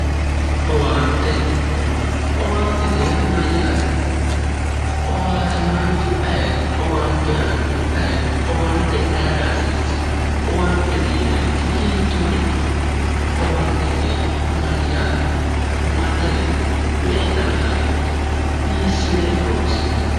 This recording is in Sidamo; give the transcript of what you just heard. Owaante, owaantete yaa mayyaate? Owaatamaanchu ayiiti? Owaante aannohu ayeeti? Owaante ayira hasiissa? Owaantete yinayiri hiittoorichooti? Owaantete yaa mayyate. Ma danite? Me"e dana afidheyo? Hiissine horoonsi'nayi?